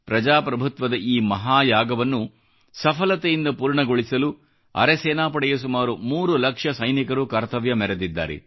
ಪ್ರಜಾಪ್ರಭುತ್ವದ ಈ ಮಹಾಯಾಗವನ್ನು ಸಫಲತೆಯಿಂದ ಪೂರ್ಣಗೊಳಿಸಲು ಅರೆಸೇನಾಪಡೆಯ ಸುಮಾರು 3 ಲಕ್ಷ ಸೈನಿಕರು ಕರ್ತವ್ಯ ಮೆರೆದಿದ್ದಾರೆ